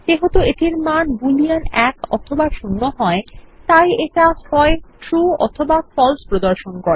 যেহেতু এটির মান বুলিয়ান ১অথবা ০হয় তাইএটা হয়true অথবাfalse প্রদর্শন করে